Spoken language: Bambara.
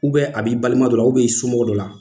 a b'i balima dɔ la i somɔgɔ dɔ la.